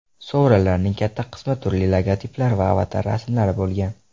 Sovrinlarning katta qismi turli logotiplar va avatar rasmlari bo‘lgan.